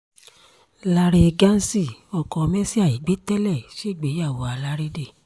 láre ghansi ọkọ mercy àìgbé tẹ́lẹ̀ ṣègbéyàwó alárédè